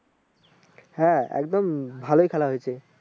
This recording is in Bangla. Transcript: হ্যাঁ একদম ভালোই খেলা হয়েছে ।